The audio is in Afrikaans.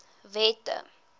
wette